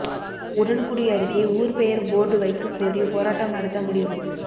உடன்குடி அருகே ஊர் பெயர் போர்டு வைக்ககோரி போராட்டம் நடத்த முடிவு